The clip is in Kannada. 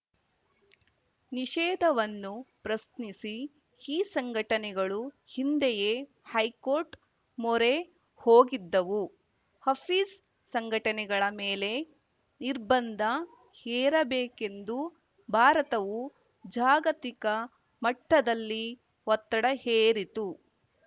ನಿಷೇಧವನ್ನು ಪ್ರಶ್ನಿಸಿ ಈ ಸಂಘಟನೆಗಳು ಹಿಂದೆಯೇ ಹೈಕೋರ್ಟ್‌ ಮೊರೆ ಹೋಗಿದ್ದವು ಹಫೀಜ್‌ ಸಂಘಟನೆಗಳ ಮೇಲೆ ನಿರ್ಬಂಧ ಹೇರಬೇಕೆಂದು ಭಾರತವು ಜಾಗತಿಕ ಮಟ್ಟದಲ್ಲಿ ಒತ್ತಡ ಹೇರಿತು